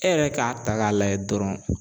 E yɛrɛ k'a ta k'a layɛ dɔrɔn.